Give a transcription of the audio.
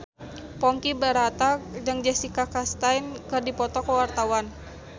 Ponky Brata jeung Jessica Chastain keur dipoto ku wartawan